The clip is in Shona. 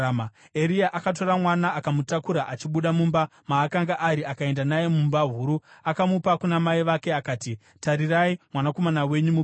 Eria akatora mwana akamutakura achibuda mumba maakanga ari akaenda naye mumba huru. Akamupa kuna mai vake akati, “Tarirai, mwanakomana wenyu mupenyu!”